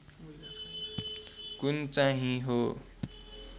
कुन चाहिँ हो